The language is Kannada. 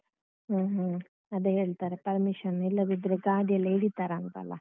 ಹ್ಮ ಹ್ಮ ಅದೇ ಹೇಳ್ತಾರೆ permission ಇಲ್ಲದಿದ್ರೂ ಗಾಡಿಯೆಲ್ಲ ಹಿಡೀತಾರಂತಲ್ಲಾ?